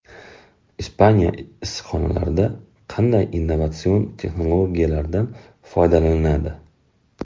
Ispaniya issiqxonalarida qanday innovatsion texnologiyalardan foydalaniladi?.